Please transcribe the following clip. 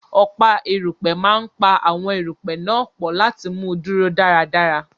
Ọ̀pá erùpẹ̀ máa pa àwọn erùpẹ̀ náà pọ̀ láti mú un dúró dáradára.